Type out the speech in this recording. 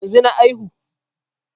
Yanzu na aihu